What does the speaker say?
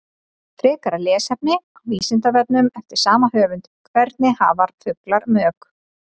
Frekara lesefni á Vísindavefnum eftir sama höfund: Hvernig hafa fuglar mök?